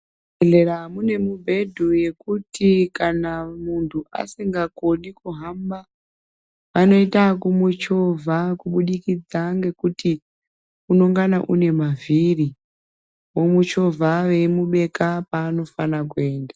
Muzvibhedhlera mune mibhedhu yekuti kana muntu asingakoni kuhamba anoita ekumuchovha kubudikidza ngekuti unongana une mavhiri omuchovha veimubeka paanofana kuenda